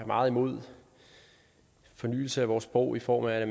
meget imod fornyelse af vores sprog i form af